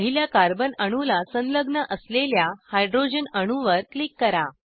पहिल्या कार्बन अणूला संलग्न असलेल्या हायड्रोजन अणूवर क्लिक करा